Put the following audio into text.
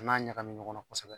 N'a ɲagamin ɲɔgɔn na kɔsɛbɛ